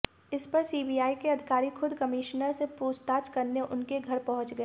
इस पर सीबीआई के अधिकारी खुद कमिश्नर से पूछताछ करने उनके घर पहुंच गए